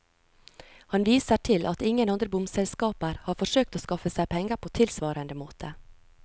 Han viser til at ingen andre bomselskaper har forsøkt å skaffe seg penger på tilsvarende måte.